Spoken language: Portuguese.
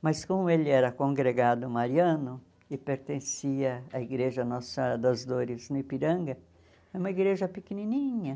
mas como ele era congregado mariano e pertencia à igreja Nossa Senhora das Dores, no Ipiranga, era uma igreja pequenininha.